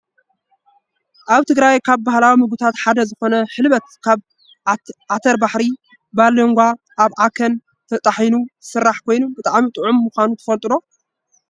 ኣብ ትግራይ ካብ ባህላዊ ምግብታት ሓደ ዝኮነ ሕልበት ካብ ዓተባሪሒን /ባሎንጋን/ ኣብዓከን ተጣሒኑ ዝስራሕ ኮይኑ ብጣዕሚ ጥዑም ምኳኑ ትፈልጡ ዶ?